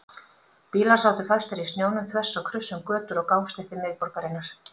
Bílar sátu fastir í snjónum þvers og kruss um götur og gangstéttir miðborgarinnar.